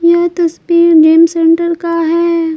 यह तस्वीर game centre का है।